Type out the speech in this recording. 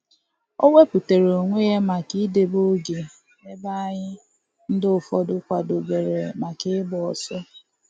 O wepụtara onwe ya maka idebe oge ebe anyị ndị fọdụrụ kwadobere maka ịgba ọsọ